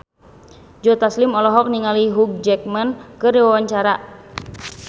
Joe Taslim olohok ningali Hugh Jackman keur diwawancara